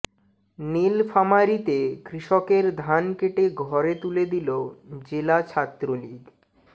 নীলফামারীতে কৃষকের ধান কেটে ঘরে তুলে দিলো জেলা ছাত্রলীগ